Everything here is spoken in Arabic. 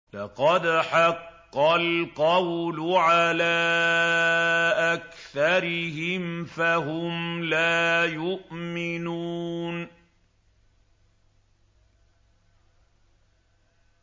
لَقَدْ حَقَّ الْقَوْلُ عَلَىٰ أَكْثَرِهِمْ فَهُمْ لَا يُؤْمِنُونَ